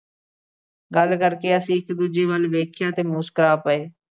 ਗੱਲ ਕਰਕੇ ਅਸੀਂ ਇੱਕ ਦੂਜੇ ਵੱਲ ਵੇਖਿਆ ਤੇ ਮੁਸਕਰਾ ਪਏ।